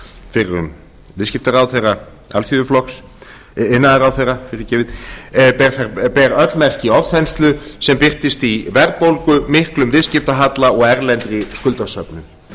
fyrrum iðnaðarráðherra alþýðuflokks ber öll merki ofþenslu sem birtist í verðbólgu miklum viðskiptahalla og erlendri skuldasöfnun